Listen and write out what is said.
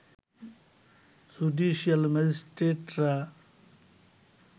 judicial ম্যাজিস্ট্রেটরা